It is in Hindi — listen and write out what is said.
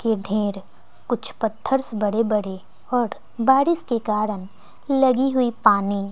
के ढेर कुछ पत्थर्स बड़े बड़े और बारिश के कारण लगी हुई पानी--